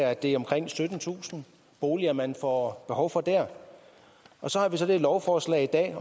at det er omkring syttentusind boliger man får behov for der og så har vi så det her lovforslag i dag